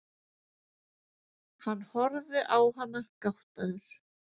Hann horfir á hana gáttaður.